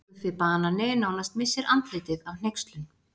Guffi banani nánast missir andlitið af hneykslun.